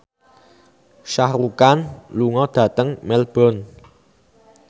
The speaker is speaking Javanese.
Shah Rukh Khan lunga dhateng Melbourne